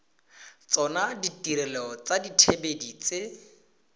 tsona ditirelo tsa dithibedi tse